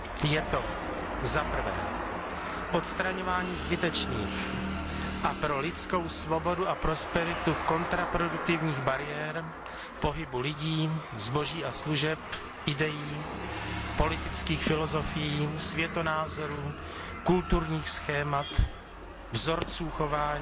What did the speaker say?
Je to za prvé odstraňování zbytečných a pro lidskou svobodu a prosperitu kontraproduktivních bariér pohybu lidí, zboží a služeb, idejí, politických filozofií, světonázorů, kulturních schémat, vzorců chování,